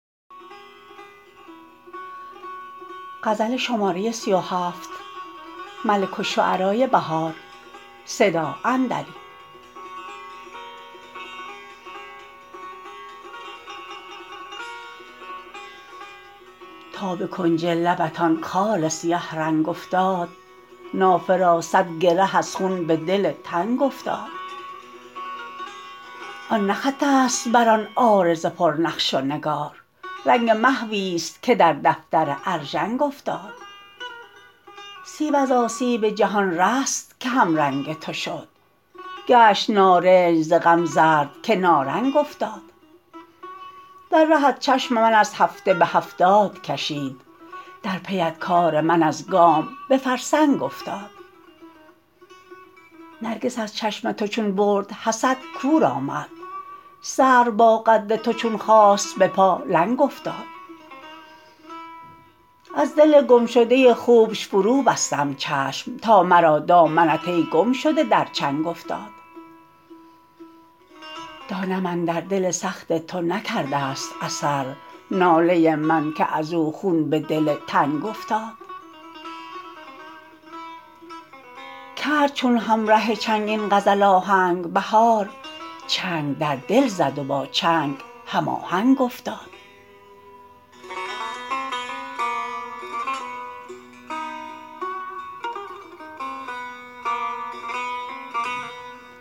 تا به کنج لبت آن خال سیه رنگ افتاد نافه را صدگره از خون به دل تنگ افتاد آن نه خط است برآن عارض پرنقش و نگار رنگ محویست که در دفتر ارژنگ افتاد سیب از آسیب جهان رست که همرنگ تو شد گشت نارنج ز غم زردکه نارنگ افتاد دررهت چشم من از هفته به هفتادکشید در پی ات کار من ازگام به فرسنگ افتاد نرگس از چشم تو چون برد حسد کور آمد سرو با قد تو چون خاست بپا لنگ افتاد از دل گمشده خوبش فرو بستم چشم تا مرا دامنت ای گمشده در چنگ افتاد دانم اندر دل سخت تو نکرده است اثر ناله من که ازو خون به دل تنگ افتاد کرد چون همره چنگ این غزل آهنگ بهار چنگ دردل زد و با چنگ هم آهنگ افتاد